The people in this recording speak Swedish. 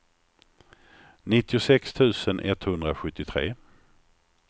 nittiosex tusen etthundrasjuttiotre